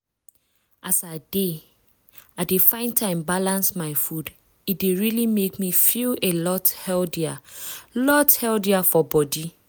as i dey i dey find time balance my food e dey really make me feel a lot healthier lot healthier for body.